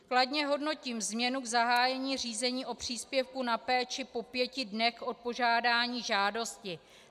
Kladně hodnotím změnu v zahájení řízení o příspěvku na péči po pěti dnech od podání žádosti.